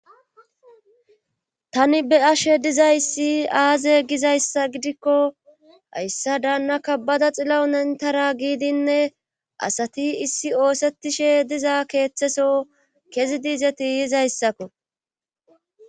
tani be'ashe dizayssi aaze gizayssa gidikko hayssa daana kabada xillawu nentara giidinne asati issi oosettishe diza keeththeso kezi diizeti yizayssakko